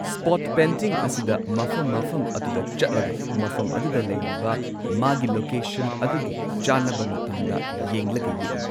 Spot painting ꯑꯁꯤꯗ ꯃꯐꯝ ꯃꯐꯝ ꯑꯗꯨꯗ ꯆꯠꯂꯒ ꯃꯐꯝ ꯑꯗꯨꯗ ꯂꯩꯔꯤꯕ ꯃꯥꯒꯤ ꯂꯣꯀꯦꯁꯟ ꯑꯗꯨꯒꯤ ꯆꯥꯟꯅꯕ ꯃꯇꯝꯗ ꯌꯦꯡꯂꯒ ꯌꯦꯛꯏ꯫